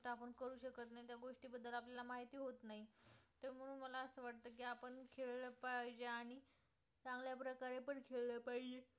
खेळले पाहिजे आणि चांगल्या प्रकारे पण खेळले पाहिजे